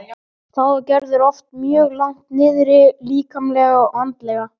Þá er Gerður oft mjög langt niðri líkamlega og andlega.